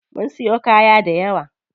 Mun siyo kaya dayawa.